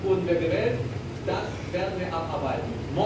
Dafür wurden wir gewählt, das werden wir abarbeiten.